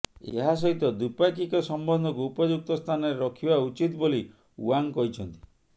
ଏହା ସହିତ ଦ୍ବିପାକ୍ଷିକ ସମ୍ବନ୍ଧକୁ ଉପଯୁକ୍ତ ସ୍ଥାନରେ ରଖିବା ଉଚିତ୍ ବୋଲି ଓ୍ବାଙ୍ଗ କହିଛନ୍ତି